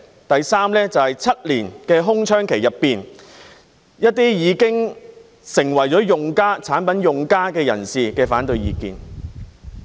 第三，就是在7年的空窗期內，一些已經成為產品用家的人士的反對意見。